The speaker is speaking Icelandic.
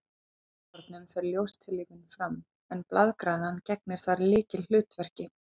Í grænukornunum fer ljóstillífun fram, en blaðgrænan gegnir þar lykilhlutverki.